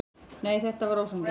Nei, þetta var ósanngjarnt.